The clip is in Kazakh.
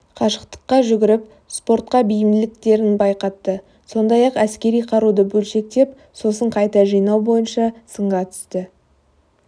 қашықтыққа жүгіріп спортқа бейімділіктерін байқатты сондай-ақ әскери қаруды бөлшектеп сосын қайта жинау бойынша сынға түсті